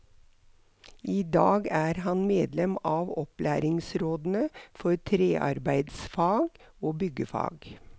I dag er han medlem av opplæringsrådene for trearbeidsfag og byggefag.